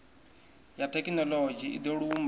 ya thekhinoḽodzhi i do lumba